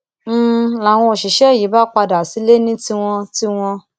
n láwọn òṣìṣẹ yìí bá padà sílé ní tiwọn tiwọn